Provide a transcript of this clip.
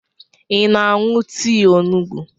Ị na-aṅụ tii onugbu?